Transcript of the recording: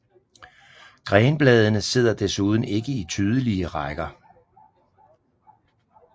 Grenbladene sidder desuden ikke i tydelige rækker